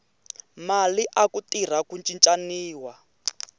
mali aku tirha ku cincaniwa